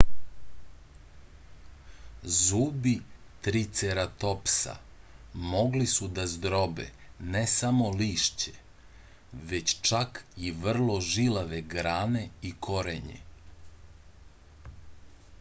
zubi triceratopsa mogli su da zdrobe ne samo lišće već čak i vrlo žilave grane i korenje